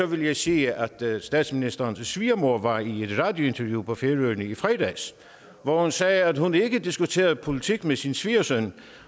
vil jeg sige at statsministerens svigermor var i et radiointerview på færøerne i fredags hvor hun sagde at hun ikke diskuterede politik med sin svigersøn